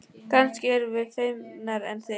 Kannski erum við feimnari en þið.